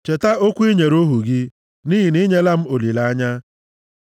Cheta okwu i nyere ohu gị, nʼihi na i nyela m olileanya.